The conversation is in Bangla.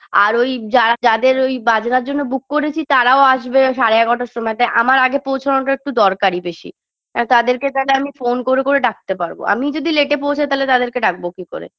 আর ওই যারা যাদের ওই বাজনার জন্য book করেছি তারাও আসবে সাড়ে এগারটার সময় তাই আমার আগে পৌছানোটা একটু দরকারী বেশি এখ তাদেরকে তায়লে আমি phone করে করে ডাকতে পারবো আমিই যদি late -এ পৌঁছাই তাহলে তাদেরকে ডাকবো কি করে